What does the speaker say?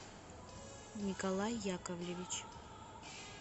николай яковлевич